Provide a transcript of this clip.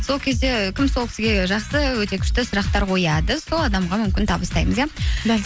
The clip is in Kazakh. сол кезде кім сол кісіге жақсы өте күшті сұрақтар қояды сол адамға мүмкін табыстаймыз иә